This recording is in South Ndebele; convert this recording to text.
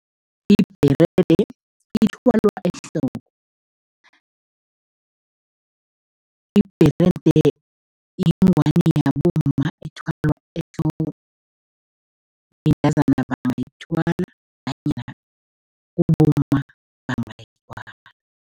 Ibherede ithwalwa ehloko. Ibherede yingwani yabomma ethwalwa ehloko, bentazana bangayithwala nanyana kubomma bangayithwala.